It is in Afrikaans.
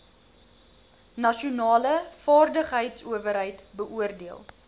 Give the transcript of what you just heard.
nasionale vaardigheidsowerheid beoordeel